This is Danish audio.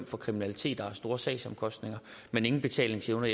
for kriminalitet og har store sagsomkostninger men ingen betalingsevne